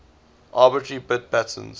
arbitrary bit patterns